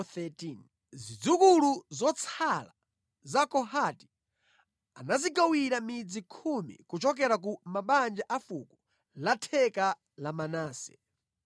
Zidzukulu zotsala za Kohati anazigawira midzi khumi kuchokera ku mabanja a fuko la theka la Manase.